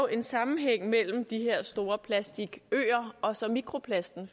en sammenhæng mellem de her store plastikøer og så mikroplasten